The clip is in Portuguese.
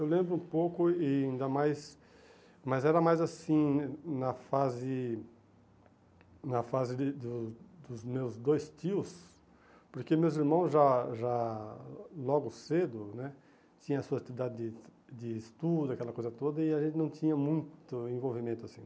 Eu lembro um pouco, e ainda mais, mas era mais assim na fase na fase de do dos meus dois tios, porque meus irmãos já já, logo cedo né, tinham sua atividade de de estudo, aquela coisa toda, e a gente não tinha muito envolvimento assim.